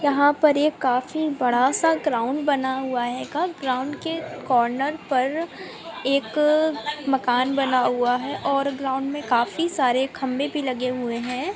यहाँ पर एक काफी बड़ा सा ग्राउंड बना हुआ है ग्राउंड के कॉर्नर पर एक मकान बना हुआ है और ग्राउंड में काफी सरे खंभे भी लगे हुए है|